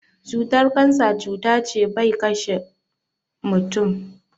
Cutar kansa cuta ce ɓai ƙashe mutum.